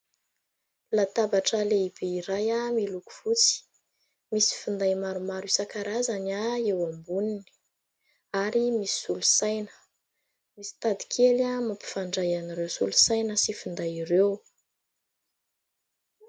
Latabatra lehibe iray miloko fotsy. Misy finday maromaro isan-karazany eo amboniny ary misy solosaina. Misy tadikely mampifandray an'ireo solosaina sy finday ireo.